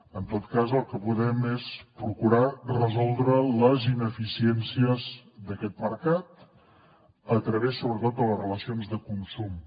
en tot cas el que podem és procurar resoldre les ineficiències d’aquest mercat a través sobretot de les relacions de consum